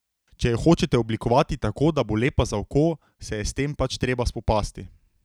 Če jo hočete oblikovati tako, da bo lepa za oko, se je s tem pač treba spopasti.